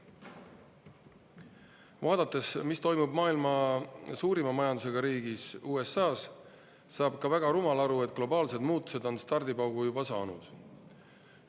Vaadates, mis toimub maailma suurima majandusega riigis, USA-s, saab ka väga rumal aru, et globaalsed muutused on stardipaugu juba saanud.